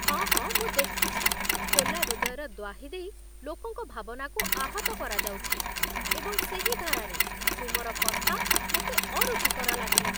ହଁ ହଁ ମୁଁ ଦେଖିଛି, ଖୋଲା ହୃଦୟର ଦ୍ଵାହି ଦେଇ ଲୋକଙ୍କ ଭାବନାକୁ ଆହତ କରାଯାଉଛି, ଏବଂ ସେହି ଧାରାରେ, ତୁମର କଥା ମୋତେ ଅରୁଚିକର ଲାଗିଲା।